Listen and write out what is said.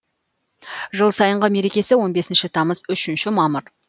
жыл сайынғы мерекесі он бесінші тамыз үшінші мамыр